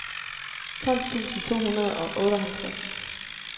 tolv tusind to hundrede og otteoghalvtreds